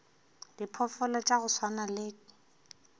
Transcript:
diphoofolo tša go swana le